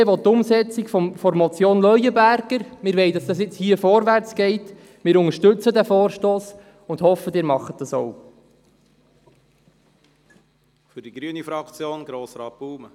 Die BDP will die Umsetzung der Motion Leuenberger Wir wollen, dass es hier und jetzt vorwärts geht, wir unterstützen diesen Vorstoss und hoffen, dass Sie dies auch tun.